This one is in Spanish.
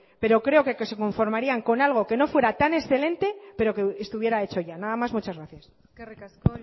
pero creo que se conformarían con algo que no fuera tan excelente pero que estuviera hecho ya nada más muchas gracias eskerrik asko